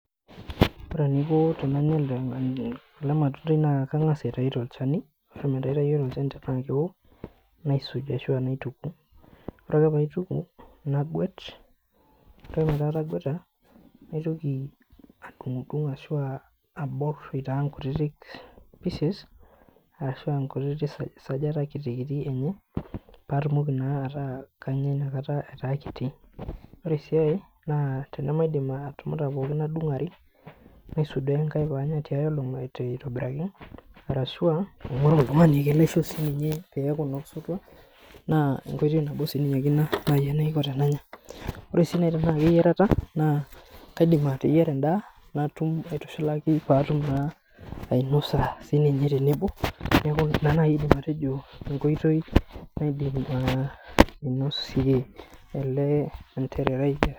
Ore eniko tenanya ele matundai naa kangas aitayu tolchani, ore mee aitayio tolchani metaa keo, naisuj ashu ah naituku, ore paaituku naguet. Ore peaku atagueta naitoki adungudung ashu abor aitaa ikutiti pieces ashuu ah kutiti sajata kiti kiti kiti patumoki naa ataa kanya inakata etaa kiti . Ore si ae tenemaidim atumuta pookin naa kadung are naisuduo ekae pee anya tia olong aitobiraki arashu ah aingoru oltungani laishoo sininye peaku osotua naa enkoitoi nabo ake sininye enaiko tenanya ore sii naaji teneaku eyiarata naa kaidim ateyiara endaa natum aitushulaki paatum naa, ainosa sininye tenebo, neaku ina naaji aidim atejo enkoitoi naidim ainosie ele atererai.